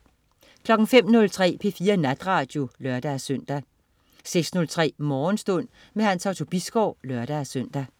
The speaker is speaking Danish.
05.03 P4 Natradio (lør-søn) 06.03 Morgenstund. Hans Otto Bisgaard (lør-søn)